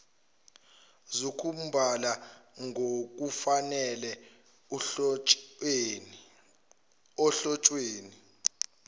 zokubhala ngokufanele ohlotsheni